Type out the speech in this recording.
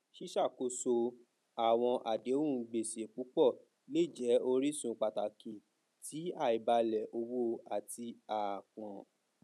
ṣíṣàkóso àwọn àdéhùn gbèsè púpọ lè jẹ orísun pàtàkì ti àìbalẹ owó àti àápọn